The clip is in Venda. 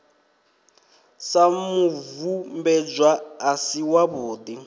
sa mubvumbedzwa a si wavhudi